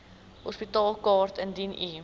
hospitaalkaart indien u